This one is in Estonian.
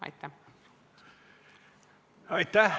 Aitäh!